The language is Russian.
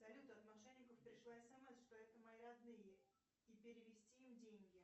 салют от мошенников пришла смс что это мои родные и перевести им деньги